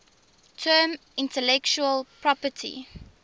term intellectual property